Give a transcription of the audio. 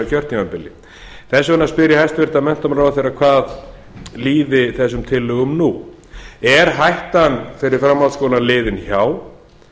kjörtímabili þess vegna spyr ég hæstvirtan menntamálaráðherra hvað líði þessum tillögum nú er hættan fyrir framhaldsskólann liðinn hjá